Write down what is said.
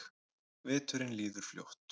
Veturinn líður fljótt.